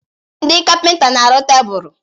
Ndị kapịnta na-arụ tebụl.